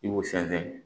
I b'o sɛnsɛn